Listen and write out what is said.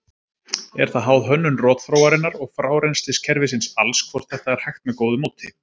Er það háð hönnun rotþróarinnar og frárennsliskerfisins alls hvort þetta er hægt með góðu móti.